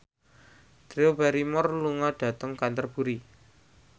Drew Barrymore lunga dhateng Canterbury